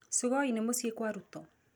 Sugoi nĩ mũciĩ kwa Ruto.